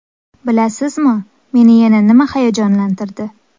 Bilasizmi, meni yana nima hayajonlantirdi?